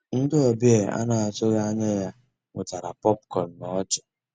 Ndị́ ọ̀bịá á ná-àtụ́ghị́ ànyá yá wetàrà pọ̀pkọ̀n ná ọ́chị́.